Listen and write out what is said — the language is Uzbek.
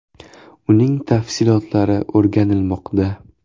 Uning tafsilotlari o‘rganilmoqda.